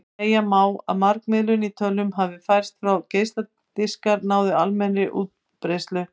Segja má að margmiðlun í tölvum hafi fæðst þegar geisladiskar náðu almennri útbreiðslu.